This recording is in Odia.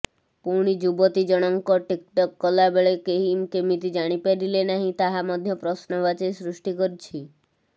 ପୁଣି ଯୁବତୀ ଜଣଙ୍କ ଟିକ୍ଟକ୍ କଲାବେଳେ କେହି କେମିତି ଜାଣିପାରିଲେ ନାହିଁ ତାହା ମଧ୍ୟ ପ୍ରଶ୍ନବାଚୀ ସୃଷ୍ଟି କରିଛି